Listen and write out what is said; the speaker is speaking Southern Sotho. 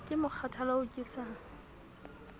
ke mokgathala oo ke sa